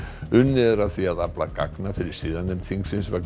unnið er að því að afla gagna fyrir siðanefnd þingsins vegna